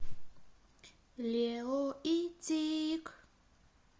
лео и тиг